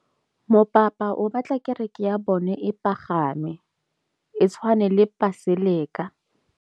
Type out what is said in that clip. Mopapa o batla kereke ya bone e pagame, e tshwane le paselika.